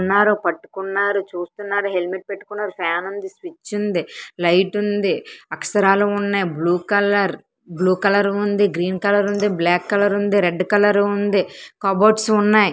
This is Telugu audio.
ఉన్నారు పట్టుకున్నారు చూస్తున్నారు హెల్మెట్ పెట్టుకున్నారు ఫ్యాన్ ఉంది స్విచ్ ఉంది లైట్ ఉంది అక్షరాలు ఉన్నాయి బ్లూ కలర్ బ్లూ కలర్ ఉంది గ్రీన్ కలర్ ఉంది బ్లాక్ కలర్ ఉంది రెడ్ కలర్ ఉంది కబోర్డ్స్ ఉన్నాయి.